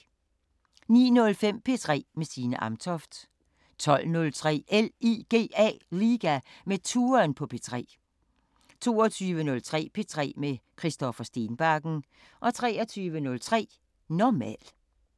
09:05: P3 med Signe Amtoft 12:03: LIGA med Touren på P3 22:03: P3 med Christoffer Stenbakken 23:03: Normal